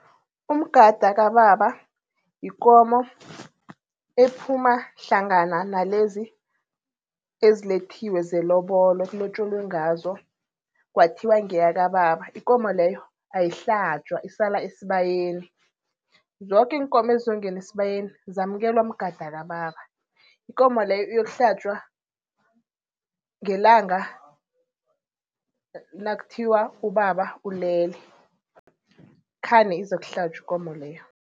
Umgada kababa, yikomo ephuma hlangana nalezi ezilethiwe zelobolo ekulotjolwe ngazo, kwathiwa ngeyakababa. Ikomo leyo ayihlatjwa isala esibayeni. Zoke iinkomo ezongene esibayeni zamkelwa mgada kababa. Ikomo leyo iyokuhlatjwa ngelanga nakuthiwa ubaba ulele, khani izokuhlatjwa ikomo leyo.